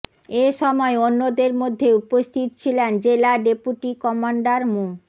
এ সময় অন্যদের মধ্যে উপস্থিত ছিলেন জেলা ডেপুটি কমান্ডার মো